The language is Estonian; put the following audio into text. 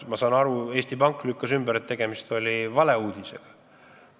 Ma saan aru, et Eesti Pank lükkas selle ümber, kinnitades, et tegemist oli valeuudisega.